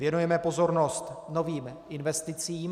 Věnujeme pozornost novým investicím.